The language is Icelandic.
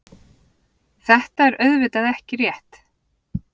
Þetta er auðvitað ekki rétt.